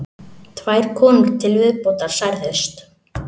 Tvær konur til viðbótar særðust